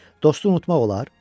Dostu unutmaq olar?